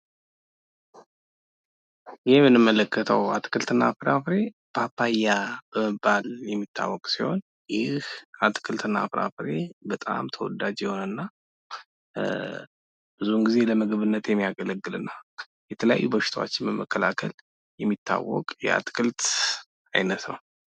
ይህ አትክልትና ፍራፍሬ ፓፓያ የሚባል ሲሆን ፤ በጣም ተዎዳጅና በሽታዎችን ለመከላከል የሚያገለግል የአትክልት እና ፍራፍሬ አይነት ነው።